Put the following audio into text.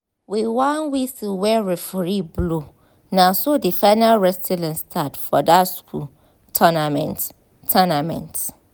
with one whistle wey referee blow naso the final wrestling start for that school tounament. tounament.